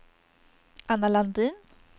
Anna Landin